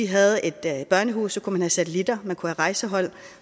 havde et børnehus kunne man have satelitter man kunne have rejsehold